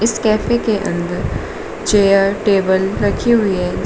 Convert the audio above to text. इस कैफे के अंदर चेयर टेबल रखी हुई हैं।